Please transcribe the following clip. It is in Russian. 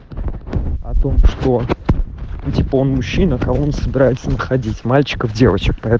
о том что он мужчина он собирается уходить мальчиков дева